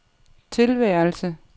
tilværelse